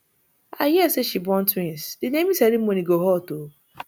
i hear say she born twins the naming ceremony go hot oo